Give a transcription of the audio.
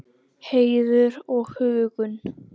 Heiður og huggun.